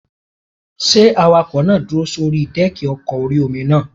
Ṣé awakọ̀ náà dúró sórí dẹ́ẹ̀kì ọkọ̀ orí-omi náà?